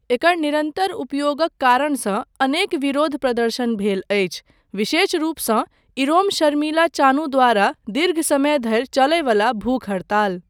एकर निरन्तर उपयोगक कारणसँ अनेक विरोध प्रदर्शन भेल अछि, विशेष रूपसँ इरोम शर्मिला चानू द्वारा दीर्घ समय धरि चलयवला भूख हड़ताल।